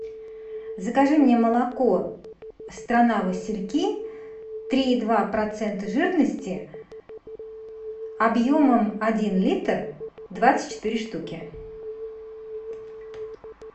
закажи мне молоко страна васильки три и два процента жирности объемом один литр двадцать четыре штуки